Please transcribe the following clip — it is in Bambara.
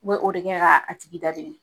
Kun be o de kɛ ka tigi da dimi.